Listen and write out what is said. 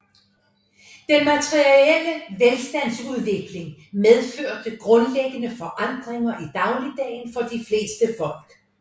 Den materielle velstandsudvikling medførte grundlæggende forandringer i dagligdagen for de fleste folk